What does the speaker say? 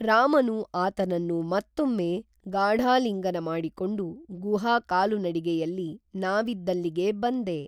ರಾಮನು ಆತನನ್ನು ಮತ್ತೊಮ್ಮೆ ಗಾಢಾಲಿಂಗನ ಮಾಡಿಕೊಂಡು ಗುಹಾ ಕಾಲುನಡಿಗೆಯಲ್ಲಿ ನಾವಿದ್ದಲ್ಲಿಗೆ ಬಂದೆ